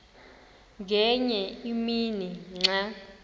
ngenye imini xa